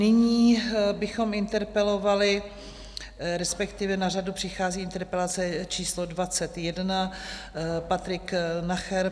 Nyní bychom interpelovali, respektive na řadu přichází interpelace číslo 21, Patrik Nacher.